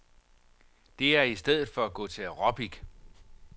Det er i stedet for at gå til aerobic.